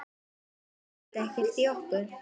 Sigga skildi ekkert í okkur.